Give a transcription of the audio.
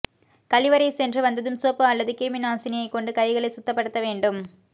கழிவறை சென்று வந்ததும் சோப்பு அல்லது கிருமி நாசினியை கொண்டு கைகளை சுத்தப்படுத்த வேண்டும்